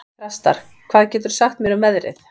Þrastar, hvað geturðu sagt mér um veðrið?